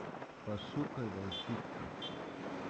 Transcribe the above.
пошукай волчица